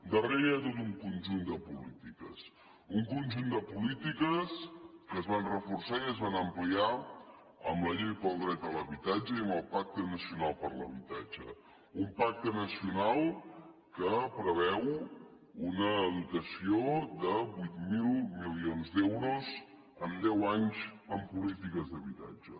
darrere hi ha tot un conjunt de polítiques un conjunt de polítiques que es van reforçar i es van ampliar amb la llei del dret a l’habitatge i amb el pacte nacional per a l’habitatge un pacte nacional que preveu una dotació de vuit mil milions d’euros en deu anys en polítiques d’habitatge